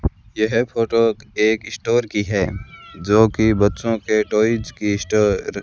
यह फोटो एक स्टोर की है जो कि बच्चों के टॉयज की स्टोर --